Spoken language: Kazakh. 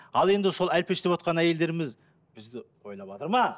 ал енді сол әлпештеп отырған әйелдеріміз бізді ойлаватыр ма